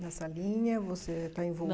Na salinha, você está